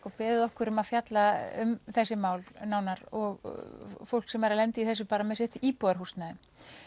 og beðið okkur um að fjalla um þessi mál nánar og fólk sem er að lenda í þessu með sitt íbúðarhúsnæði